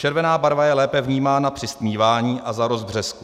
Červená barva je lépe vnímána při stmívání a za rozbřesku.